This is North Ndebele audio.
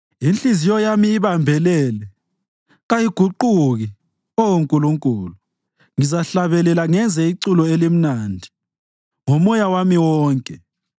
Inhliziyo yami ibambelele, kayiguquki, Oh Nkulunkulu; ngizahlabela ngenze iculo elimnandi ngomoya wami wonke.